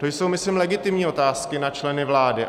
To jsou, myslím, legitimní otázky na členy vlády.